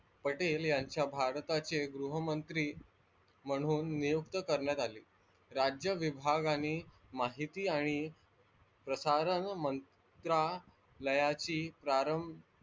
पटेल यांच्या भारताचे गृहमंत्री म्हणून नियुक्त करण्यात आले. राज्य विभागाने माहिती आणि प्रसारण मंत्रालयाची प्रारंभ,